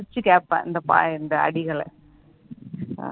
ரசிச்சி கேப்பேன் இந்த இந்த அடிகள